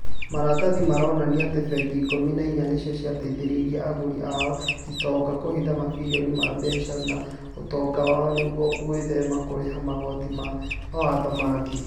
Maratathi maronania atĩ bengi ikũmi na inya nĩcio cia teithirie agũri oa itonga kũhitha mabirioni ma mbeca ma ũtomga wao nĩguo gwĩthema kũrĩha magoti na mawatho mangĩ